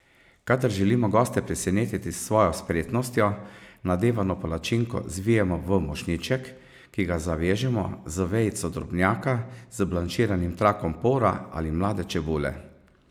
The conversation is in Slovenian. Kadar želimo goste presenetiti s svojo spretnostjo, nadevano palačinko zvijemo v mošnjiček, ki ga zavežemo z vejico drobnjaka, z blanširanim trakom pora ali mlade čebule.